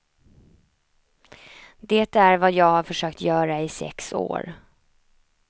Det är vad jag har försökt göra i sex år.